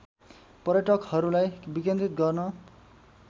पर्यटकहरूलाई विकेन्द्रित गर्न